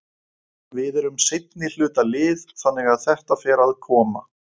Við erum seinnihluta lið þannig að þetta fer að koma.